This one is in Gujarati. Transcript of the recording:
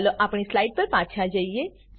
ચાલો આપણી સ્લાઈડ પર પાછા જઈએ